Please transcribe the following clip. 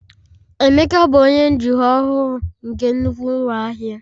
Emeka bụ onye njikwa ọhụrụ nke nnukwu ụlọ ahịa